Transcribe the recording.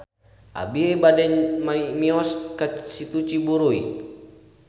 Abi bade mios ka Situ Ciburuy